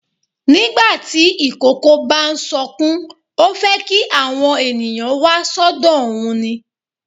Nígbà tí ìkókó bá ń sọkún, ó fẹ́ kí àwọn ènìyàn wá sọ́dọ̀ òun ni.